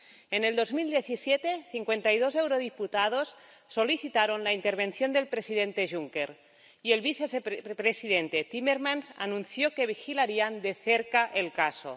En 2017, cincuenta y dos eurodiputados solicitaron la intervención del presidente Juncker, y el vicepresidente Timmermans anunció que vigilarían de cerca el caso.